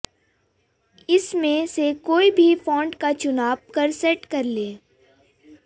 इसमें से कोई भी फॉन्ट का चुनाब कर सेट कर लें